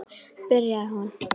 byrjaði hún.